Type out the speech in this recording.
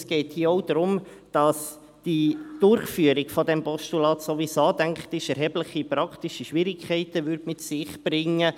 Es geht hier auch darum, dass die Umsetzung des Postulats erhebliche praktische Schwierigkeiten mit sich brächte.